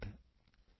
ਸ਼ੇਸ਼ਮਤਾਥੈਵਾਚਾ